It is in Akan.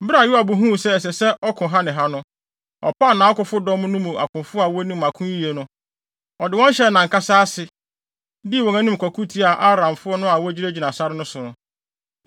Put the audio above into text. Bere a Yoab huu sɛ ɛsɛ sɛ ɔko ha ne ha no, ɔpaw nʼakofodɔm no mu akofo a wonim ako yiye no. Ɔde wɔn hyɛɛ nʼankasa ase, dii wɔn anim kɔko tiaa Aramfo no a wogyinagyina sare so no.